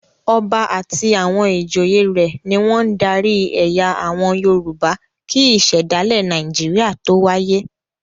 Ọba àti àwọn ìjòyè rẹ̀ ni wọ́n ń darí ẹ̀yà àwọn Yorùbá kí Ìṣẹ̀dálẹ̀ Nàìjíríà tó wáyé.